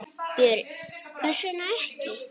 Björn: Hvers vegna ekki?